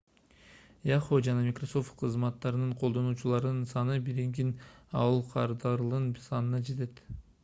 yahoo жана microsoft кызматтарынын колдонуучуларынын саны биригип aol кардарларынын санына жетет